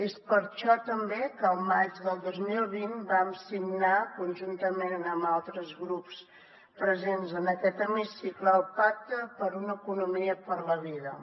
és per això també que el maig del dos mil vint vam signar conjuntament amb altres grups presents en aquest hemicicle el pacte per una economia per la vida